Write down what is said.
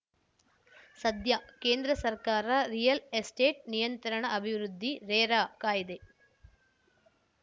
ಸದ್ಯ ಕೇಂದ್ರ ಸರ್ಕಾರ ರಿಯಲ್‌ ಎಸ್ಟೇಟ್‌ ನಿಯಂತ್ರಣ ಅಭಿವೃದ್ಧಿರೇರಾಕಾಯ್ದೆ